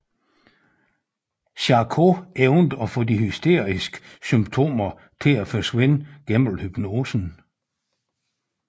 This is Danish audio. Charcot evnede at få de hysteriske symptomer til at forsvinde gennem hypnosen